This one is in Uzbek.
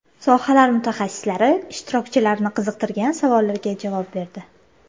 Sohalar mutaxassislari ishtirokchilarni qiziqtirgan savollarga javob berdi.